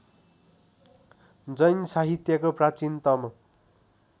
जैनसाहित्यको प्राचीनतम